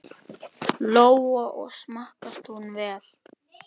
Lóa: Og smakkast hún vel?